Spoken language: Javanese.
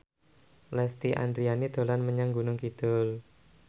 Lesti Andryani dolan menyang Gunung Kidul